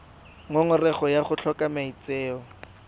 ngongorego ya go tlhoka maitseo